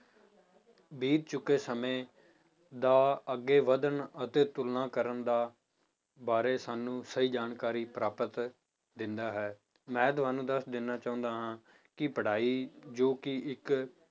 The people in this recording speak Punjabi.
ਬੀਤ ਚੁੱਕੇ ਸਮੇਂ ਦਾ ਅੱਗੇ ਵੱਧਣ ਅਤੇ ਤੁਲਨਾ ਕਰਨ ਦਾ ਬਾਰੇ ਸਾਨੂੰ ਸਹੀ ਜਾਣਕਾਰੀ ਪ੍ਰਾਪਤ ਦਿੰਦਾ ਹੈ, ਮੈਂ ਤੁਹਾਨੂੰ ਦੱਸ ਦੇਣਾ ਚਾਹੁੰਦਾ ਹਾਂ ਕਿ ਪੜ੍ਹਾਈ ਜੋ ਕਿ ਇੱਕ